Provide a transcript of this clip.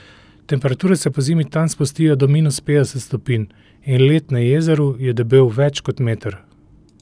Temperature se pozimi tam spustijo do minus petdeset stopinj in led na jezeru je debel več kot meter.